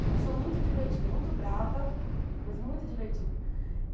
Uma pessoa muito divertida, muito brava, mas muito divertida.